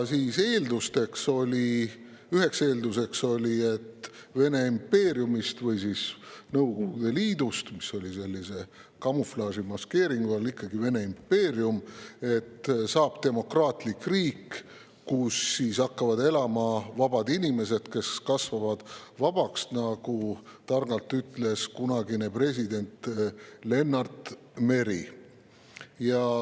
Üheks eelduseks oli, et Vene impeeriumist või Nõukogude Liidust, mis oli sellise kamuflaaži, maskeeringu all ikkagi tegelikult Vene impeerium, saab demokraatlik riik, kus hakkavad elama vabad inimesed, kes kasvavad vabaks, nagu ütles targalt kunagine president Lennart Meri.